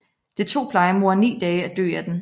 Det tog plejemoren ni dage at dø af den